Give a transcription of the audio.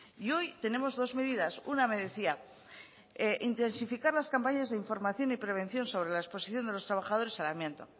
y hoy tenemos dos medidas una me decía intensificar las campañas de información y prevención sobre la exposición de los trabajadores al amianto